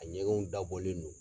A ɲɛgɛnw da bɔlen do